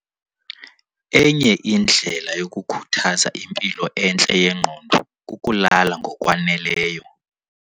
Enye indlela yokukhuthaza impilo entle yengqondo kukulala ngokwaneleyo.